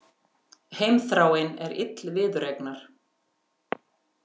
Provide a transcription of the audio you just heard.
Heimþráin er ill viðureignar.